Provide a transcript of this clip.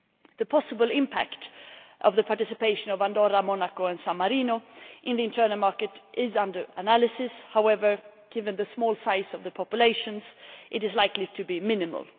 The possible impact of the participation of Andorra, Monaco and San Marino in the internal market is under analysis. However, given the small size of the populations, it is likely to be minimal.